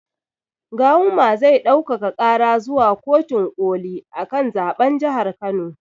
Gawuma zai ɗaukaka ƙara zuwa kotin ƙoli akan zaɓen jahar kano